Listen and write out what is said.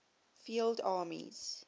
field armies